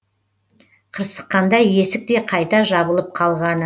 қырсыққанда есік те қайта жабылып қалғаны